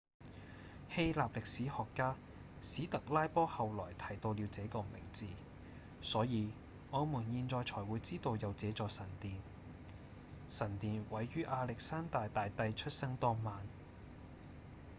希臘歷史學家史特拉波後來提到了這個名字所以我們現在才會知道有這座神殿神殿毀於亞歷山大大帝出生當晚